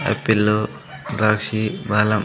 రాశి బలం.